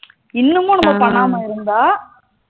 இன்னுமும் நம்ம பண்ணாம இருந்தா